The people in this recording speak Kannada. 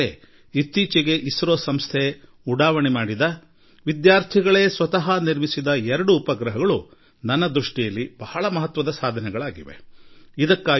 ಇದನ್ನೇ ಗಮನದಲ್ಲಿಟ್ಟುಕೊಂಡು ಇಸ್ರೋ ಉಡಾವಣೆ ಮಾಡಿದ ವಿದ್ಯಾರ್ಥಿಗಳು ನಿರ್ಮಿಸಿದ ಎರಡೂ ಉಪಗ್ರಹಗಳು ನನ್ನ ದೃಷ್ಟಿಯಲ್ಲಿ ಬಹಳ ಮಹತ್ವವಾದುದಾಗಿವ ಮತ್ತು ಮೌಲ್ಯಯುತವಾದುದಾಗಿವೆ